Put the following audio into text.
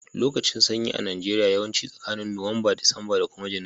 Lokacin sanyi a Najeriya yawanci tsakanin nowamba, Disamba da kuma junairu.